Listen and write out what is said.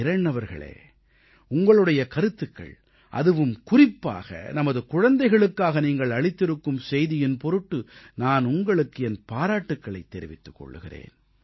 கிரண் அவர்களே உங்களுடைய கருத்துக்கள் அதுவும் குறிப்பாக நமது குழந்தைகளுக்காக நீங்கள் அளித்திருக்கும் செய்தியின் பொருட்டு நான் உங்களுக்கு என் பாராட்டுக்களைத் தெரிவித்துக் கொள்கிறேன்